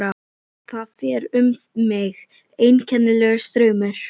Það fer um mig einkennilegur straumur.